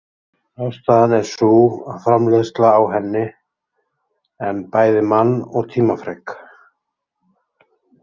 Ástæðan er sú að framleiðsla á henni en bæði mann- og tímafrek.